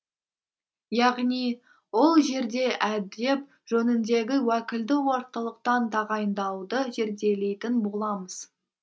яғни ол жерде әдеп жөніндегі уәкілді орталықтан тағайындауды зерделейтін боламыз